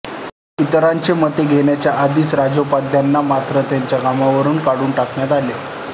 इतरांची मते घेण्याच्या आधीच राजोपाध्यांना मात्र त्यांच्या कामावरून काढून टाकण्यात आले